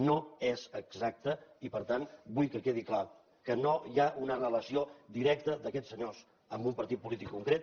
no és exacte i per tant vull que quedi clar que no hi ha una relació directa d’aquests senyors amb un partit polític concret